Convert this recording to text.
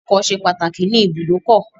Ọkọ̀ ṣe pàtàkì ní ìbùdókọ̀.